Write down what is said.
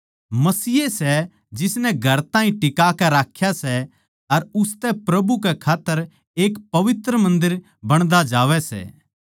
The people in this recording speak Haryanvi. मसीह ए सै जिसनै घर ताहीं टिकाकै राख्या सै अर उसतै प्रभु कै खात्तर एक पवित्र मन्दर बणदा जावै सै